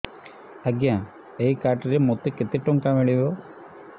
ଆଜ୍ଞା ଏଇ କାର୍ଡ ରେ ମୋତେ କେତେ ଟଙ୍କା ମିଳିବ